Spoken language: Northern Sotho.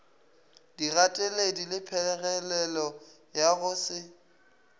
digateledi lephegelelo ya go se